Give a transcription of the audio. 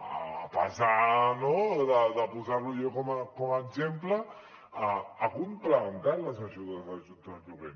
a pesar no de posar lo jo com a exemple ha complementat les ajudes a l’habitatge de lloguer